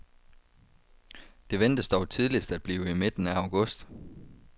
Det ventes dog tidligst at blive i midten af august.